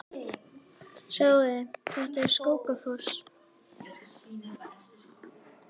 Sjáiði! Þetta er Skógafoss.